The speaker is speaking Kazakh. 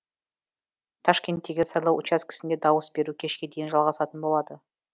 ташкенттегі сайлау учаскесінде дауыс беру кешке дейін жалғасатын болады